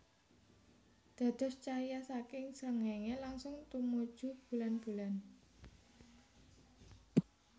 Dados cahya saking srengéngé langsung tumuju bulanbulan